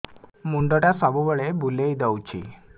ମୁଣ୍ଡଟା ସବୁବେଳେ ବୁଲେଇ ଦଉଛି